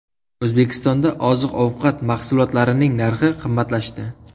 O‘zbekistonda oziq-ovqat mahsulotlarining narxi qimmatlashdi.